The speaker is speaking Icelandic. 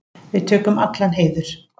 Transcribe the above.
Við tökum allan heiður.